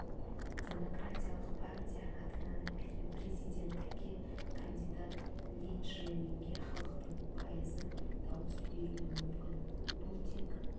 демократиялық партия атынан президенттікке кандидат ли чжэ минге халықтың пайызы дауыс беруі мүмкін бұл тек